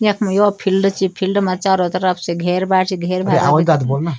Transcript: यखम यौ फिल्ड च फिल्ड मा चारो तरफ से घेर बाड च घेर बाड ।